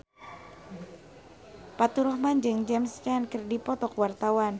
Faturrahman jeung James Caan keur dipoto ku wartawan